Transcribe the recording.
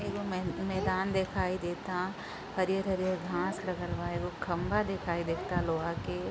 एगो मैं मैदान देखाई देता। हरिअर-हरिअर घाँस लगल बा। एगो खम्बा देखाई देता लोहा के।